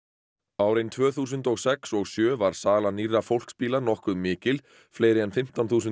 árin tvö þúsund og sex og sjö var sala nýrra fólksbíla nokkuð mikil fleiri en fimmtán þúsund